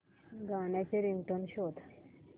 गाण्याची रिंगटोन शोध